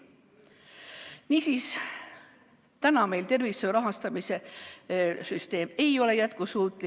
Niisiis, meie tervishoiu rahastamise süsteem ei ole jätkusuutlik.